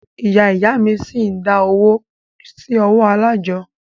Ìyá ìyá a mí ṣi ń dá owó sí ọwọ́ alájọ́.